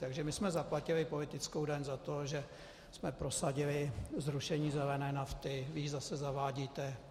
Takže my jsme zaplatili politickou daň za to, že jsme prosadili zrušení zelené nafty, vy ji zase zavádíte.